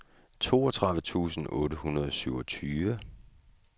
toogtredive tusind otte hundrede og syvogtyve